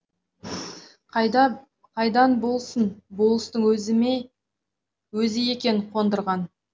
қайдан болсын болыстың өзі екен қондырған